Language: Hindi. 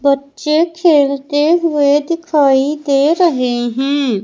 बच्चे खेलते हुए दिखाई दे रहे है।